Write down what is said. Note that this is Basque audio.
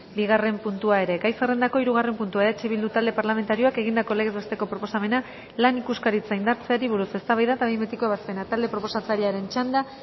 bigarren puntua ere gai zerrendako hirugarren puntua eh bildu talde parlamentarioak egindako legez besteko proposamena lan ikuskaritza indartzeari buruz eztabaida eta behin betiko ebazpena talde proposatzailearen txanda